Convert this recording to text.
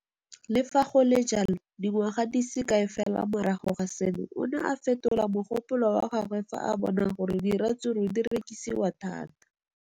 Le fa go le jalo, dingwaga di se kae fela morago ga seno, o ne a fetola mogopolo wa gagwe fa a bona gore diratsuru di rekisiwa thata.